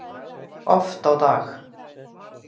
Oft á dag.